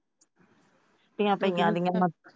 ਛੁੱਟੀਆਂ ਪਾਇਆ।